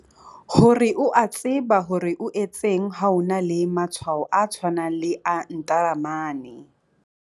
Hore o a tseba hore o etseng ha o na le matshwao a tshwanang le a ntaramane.